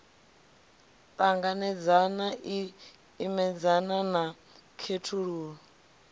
ṱanganedzana i imedzana na khethululo